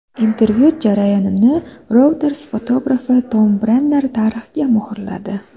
Intervyu jarayonini Reuters fotografi Tom Brenner tarixga muhrladi.